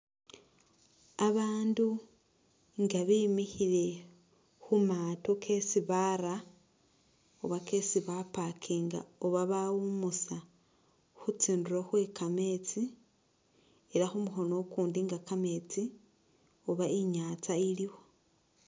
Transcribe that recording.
Abandu nga bemikhile khumaato kesi bara oba kesi bapakinga oba bawumusa khutsindulo khwekamesti ela khumukhino ukundi nga kamesti oba inyanza ilikho.